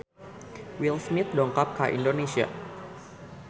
Will Smith dongkap ka Indonesia